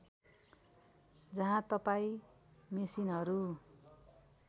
जहाँ तपाईँ मेसिनहरू